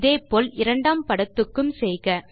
இதே போல இரண்டாம் படத்துக்கும் செய்க